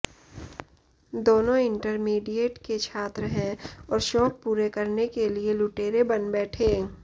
दोनों इंटरमीडिएट के छात्र है और शौक पूरे करने के लिए लुटेरे बन बैठे